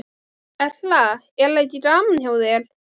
Erla: Er ekki gaman hjá þér?